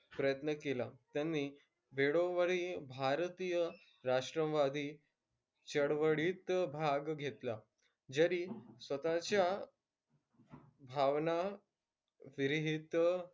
प्रयत्न केला. त्यांनी वेळोवेळी भारतीय राष्ट्रवादी चळवळीत भाग घेतला. जरी स्वतःच्या भावना विरहित,